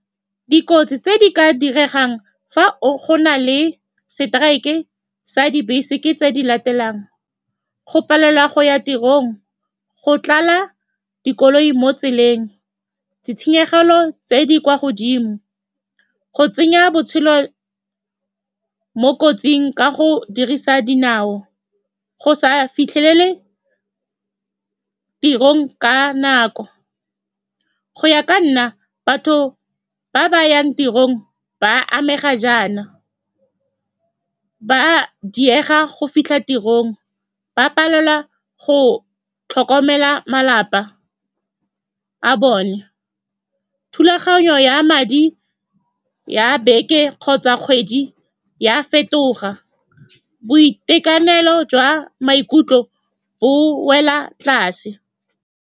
Dikotsi tse di ka diregang fa go na le seteraeke sa dibese ke tse di latelang, go palelwa go ya tirong, go tlala dikoloi mo tseleng, ditshenyegelo tse di kwa godimo, go tsenya botshelo mo kotsing ka go dirisa dinao, go sa fitlhelele tirong ka nako. Go ya ka nna, batho ba ba yang tirong ba amega jaana, ba diega go fitlha tirong, ba palelwa go tlhokomela malapa a bone, thulaganyo ya madi ya beke kgotsa kgwedi ya fetoga, boitekanelo jwa maikutlo bo wela tlase.